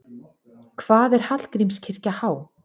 Hvað er Hallgrímskirkja há?